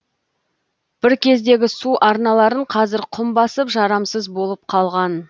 бір кездегі су арналарын қазір құм басып жарамсыз болып қалған